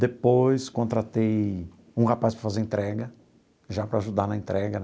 Depois contratei um rapaz para fazer entrega, já para ajudar na entrega.